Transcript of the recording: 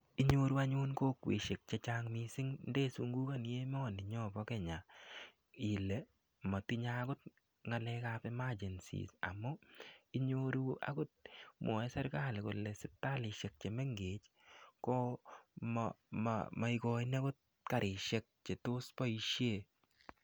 Inyoru anyun kokweshek che chang missing ndesungukoni emoni nyo bo Kenya ile motinyei akot ng'alek ap emergency amu inyoru akot mwoe serikali kole sipitalishek che mengech ko maikoini akot karishek che tos boishe.